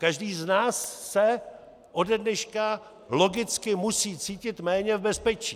Každý z nás se ode dneška logicky musí cítit méně v bezpečí.